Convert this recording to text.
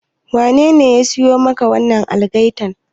Wanene ya siyo maka wannan algaitar?